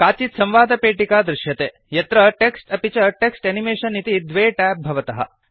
काचित् संवादपेटिका दृश्यते यत्र टेक्स्ट् अपि च टेक्स्ट् एनिमेशन इति द्वे ट्याब् भवतः